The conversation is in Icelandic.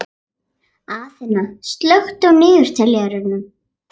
Aþena, slökktu á niðurteljaranum.